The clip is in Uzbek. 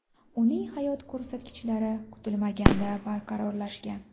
Uning hayot ko‘rsatkichlari kutilmaganda barqarorlashgan.